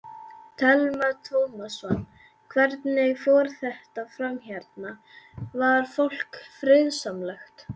Telma Tómasson: Hvernig fór þetta fram hérna, var fólk friðsamlegt?